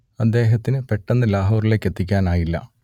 അദ്ദേഹത്തിന് പെട്ടെന്ന് ലാഹോറിലേക്കെത്തിക്കാനായില്ല